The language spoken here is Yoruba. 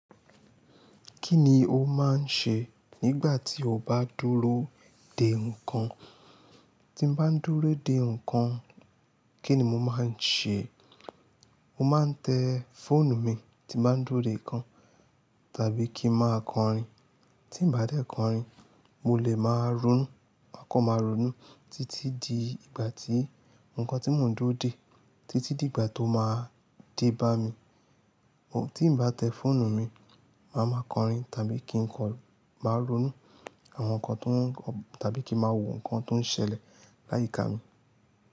Kí ni o máa ń ṣe nígbà tí o bá dúró dè nǹkan? Ti mo bá ń dúró dè nǹkan, kí ni mo máa ń ṣe? Mo máa ń tẹ fóònù mi tí mo bá ń dúró dè nǹkan, tàbí kí ń máa kọrin. Ti ì bá tẹ̀ kọrin, mo lè máa ronú, máa kan ma ronú títí di ìgbà tí nǹkan tí mò ń dúró dè, títí di ìgbà tó máa dé bá mi. Tí mo bá tẹ fóònù mi, màá máa kọrin tàbí kí n kọ-- máa ronú àwọn nǹkan tó ń kọ-- tàbí kí ń máa wo nǹkan tó ń ṣẹlẹ̀ láyìíká mi.